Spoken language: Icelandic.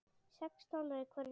Sex stólar í hverri röð.